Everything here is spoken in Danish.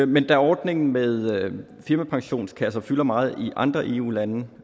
men da ordningen med firmapensionskasser fylder meget i andre eu lande